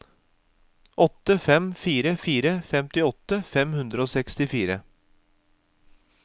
åtte fem fire fire femtiåtte fem hundre og sekstifire